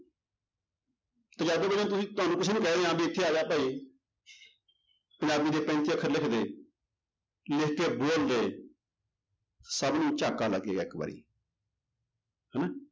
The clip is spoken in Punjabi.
ਪੰਜਾਬੀ ਬੋਲੀ ਨੂੰ ਤੁਸੀਂ ਤੁਹਾਨੂੰ ਕੁਛ ਵੀ ਕਹਿ ਦਿਆਂ ਵੀ ਇੱਥੇ ਆ ਜਾ ਭਾਈ ਪੰਜਾਬੀ ਦੇ ਤਿੰਨ ਚਾਰ ਅੱਖਰ ਲਿਖ ਦੇ ਲਿਖ ਕੇ ਬੋਲਦੇ ਸਭ ਨੂੰ ਝਟਕਾ ਲੱਗੇਗਾ ਇੱਕ ਵਾਰੀ ਹਨਾ।